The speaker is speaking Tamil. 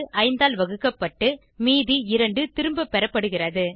5 ஆல் வகுக்கப்பட்டு மீதி 2 திரும்பப்பெறபடுகிறது